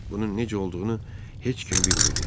Bunun necə olduğunu heç kim bilmirdi.